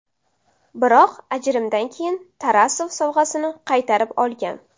Biroq ajrimdan keyin Tarasov sovg‘asini qaytarib olgan.